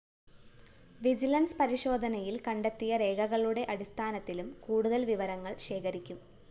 vigilance പരിശോധനയില്‍ കണ്ടെത്തിയ രേഖകളുടെ അടിസ്ഥാനത്തിലും കൂടുതല്‍ വിവരങ്ങള്‍ ശേഖരിക്കും